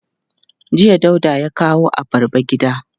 Jiya Dauda ya kawo abarba gida.